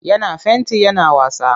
Yana fenti yana wasa.